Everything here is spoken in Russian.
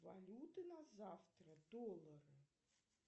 валюты на завтра доллары